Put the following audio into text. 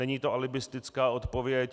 Není to alibistická odpověď.